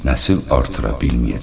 Nəsil artıra bilməyəcək.